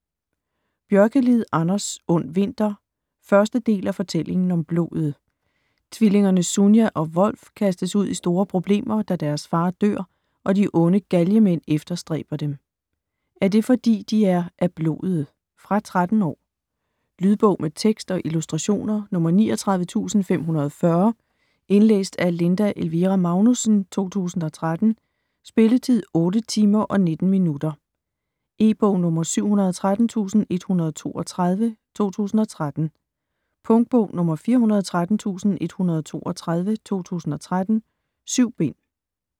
Björkelid, Anders: Ondvinter 1. del af Fortællingen om blodet. Tvillingerne Sunia og Wolf kastes ud i store problemer, da deres far dør, og de onde galgemænd efterstræber dem. Er det fordi, de er af "blodet"? Fra 13 år. Lydbog med tekst og illustrationer 39540 Indlæst af Linda Elvira Magnussen, 2013. Spilletid: 8 timer, 19 minutter. E-bog 713132 2013. Punktbog 413132 2013. 7 bind.